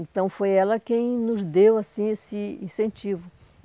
Então, foi ela quem nos deu, assim, esse incentivo.